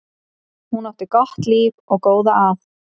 Hún átti gott líf og góða að.